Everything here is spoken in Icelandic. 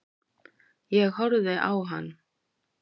Ég horfði á hann.